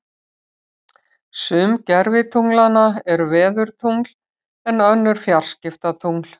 Sum gervitunglanna eru veðurtungl en önnur fjarskiptatungl.